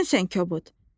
Özünsən kobud.